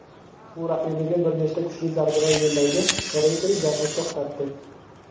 U raqibiga bir nechta kuchli zarbalar yo‘llaydi va referi jangni to‘xtatdi.